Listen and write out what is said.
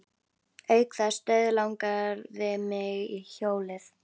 Auk þess dauðlangaði mig í hjólið.